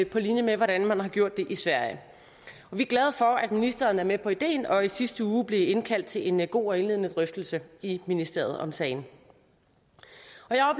på linje med hvordan man har gjort det i sverige vi er glade for at ministeren er med på ideen og at vi i sidste uge blev indkaldt til en en god og indledende drøftelse i ministeriet om sagen